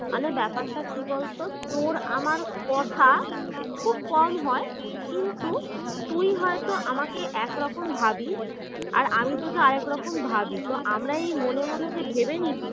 মানে ব্যাপারটা কি বলতো তোর আমার কথা খুব কম হয় কিন্তু তুই হয়তো আমাকে একরকম ভাবিস আর আমি তোকে আর একরকম ভাবি তো আমরা এই মনে মনে যে ভেবে নিচ্ছি